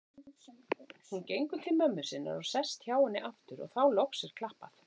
Hún gengur til mömmu sinnar og sest hjá henni aftur og þá loks er klappað.